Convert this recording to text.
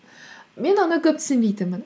мен оны көп түсінбейтінмін